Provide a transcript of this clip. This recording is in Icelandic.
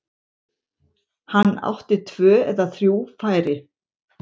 Hann átti tvö eða þrjú færi.